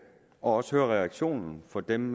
og også hører reaktionen fra dem